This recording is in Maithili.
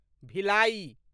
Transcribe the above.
भिलाई